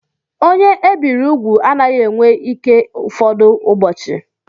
Onye ebiri úgwù anaghị enwe ike ụfọdụ ụbọchị.